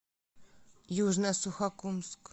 южно сухокумск